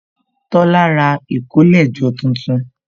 Tola ra ìkólẹ̀jọ tuntun